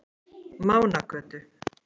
Mánagötu